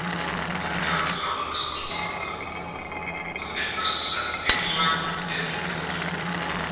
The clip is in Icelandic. Henni hafði lánast allt samtalið að virðast í senn einlæg og yfirveguð.